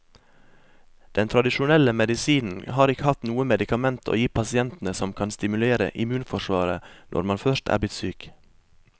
Den tradisjonelle medisinen har ikke hatt noe medikament å gi pasientene som kan stimulere immunforsvaret når man først er blitt syk.